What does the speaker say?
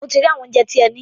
Mo ti rí àwọn óunjẹ tí ẹ ní.